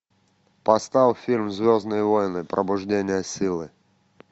поставь фильм звездные войны пробуждение силы